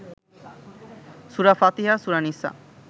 সুরা ফাতিহা, সুরা নিসা